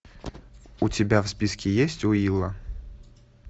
у тебя в списке есть уилла